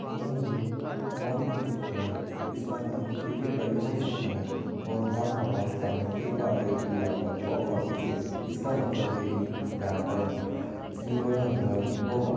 यह एक मॉल की चित्र है जिसका नाम हो सकता है और हम हमारे सामने देख पा रहे है की यहाँ पर बॉक्स ऑफिस है इसका मतलब है की यहाँ पर सिनेमा घर होगा।